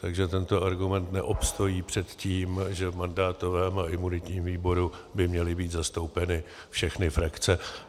Takže tento argument neobstojí před tím, že v mandátovém a imunitním výboru by měly být zastoupeny všechny frakce.